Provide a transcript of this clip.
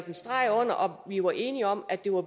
en streg under vi var enige om at det var